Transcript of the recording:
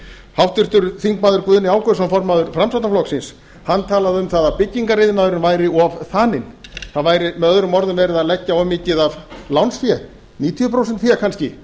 háttvirtur þingmaður guðni ágústsson formaður framsóknarflokksins talaði um að byggingariðnaðurinn væri of þaninn það væri möo verið að leggja of mikið af lánsfé níutíu prósent fé kannski